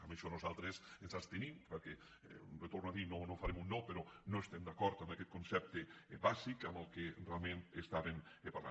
en això nosaltres ens abstenim perquè li ho torno a dir no farem un no però no estem d’acord amb aquest concepte bàsic de què realment parlaven